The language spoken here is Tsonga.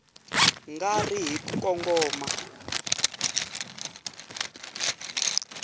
nga ri hi ku kongoma